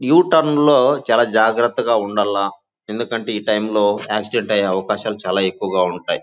U turn లో చాలా జాగ్రత్తగా ఉండాల ఎందుకంటే ఈ టైం లో ఆక్సిడెంట్ అయ్యే అవకాశాలు చాలా ఎక్కువగా ఉంటాయి.